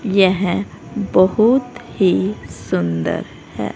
यह बहुत ही सुंदर है।